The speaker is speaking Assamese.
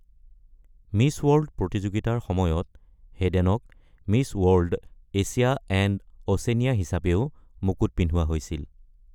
মিছ ৱৰ্ল্ড প্ৰতিযোগিতাৰ সময়ত হেডেনক "Miss World - Asia and Oceania" হিচাপেও মুকুট পিন্ধোৱা হৈছিল।